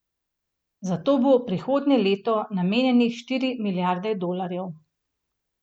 Za to bo prihodnje leto namenjenih štiri milijarde dolarjev.